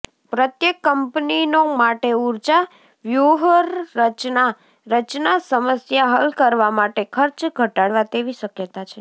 પ્રત્યેક કંપનીનો માટે ઊર્જા વ્યૂહરચના રચના સમસ્યા હલ કરવા માટે ખર્ચ ઘટાડવા તેવી શક્યતા છે